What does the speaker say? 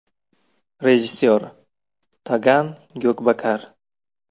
Rejissor: Togan Gyokbakar.